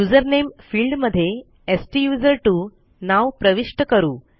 user नामे field मध्ये स्टुझर्टवो नाव प्रविष्ट करू